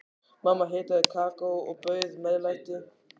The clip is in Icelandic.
Mamma hitaði kakó og bauð meðlæti.